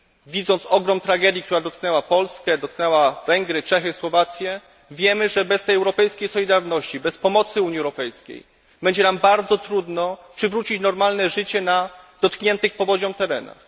Widząc ogrom tragedii, która dotknęła Polskę, Węgry, Czechy, Słowację wiemy, że bez tej europejskiej solidarności, bez pomocy Unii Europejskiej będzie nam bardzo trudno przywrócić normalne życie na dotkniętych powodzią terenach.